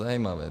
Zajímavé.